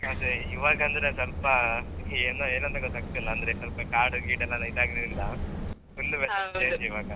ಅದೇ ಇವಾಗಂದ್ರೆ ಸ್ವಲ್ಪ ಏನೋ ಏನಂತಗೊತ್ತಾಗತಿಲ್ಲ ಅಂದ್ರೆ ಸ್ವಲ್ಪ ಕಾಡು ಗೀಡುಯೆಲ್ಲಾ ಇದಾಗಿರುದ್ರಿಂದ